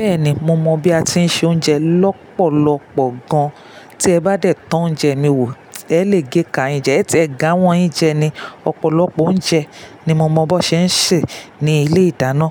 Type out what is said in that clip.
Bẹ́ẹ̀ni, mo mọ bí a ti ń se oúnjẹ lọ́pọ̀lọpọ̀ gan. Tí ẹ bá dẹ̀ to oúnjẹ mi wò, ẹ lè géka yin jẹ ẹtẹ, ẹ̀ ge awọn yín jẹ ni. Ọ̀pọ̀lọpọ̀ oúnjẹ ni mo mọ bó ṣe ń ṣe ní ilé ìdáná.